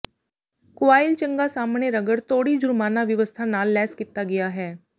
coil ਚੰਗਾ ਸਾਹਮਣੇ ਰਗੜ ਤੋੜੀ ਜੁਰਮਾਨਾ ਵਿਵਸਥਾ ਨਾਲ ਲੈਸ ਕੀਤਾ ਗਿਆ ਹੈ